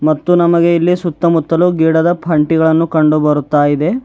ಮತ್ತು ನಮಗೆ ಇಲ್ಲಿ ಸುತ್ತಮುತ್ತಲು ಗಿಡದ ಪಂಟಿಗಳನ್ನು ಕಂಡುಬರುತ್ತಾ ಇದೆ.